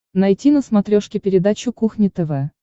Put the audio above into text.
найти на смотрешке передачу кухня тв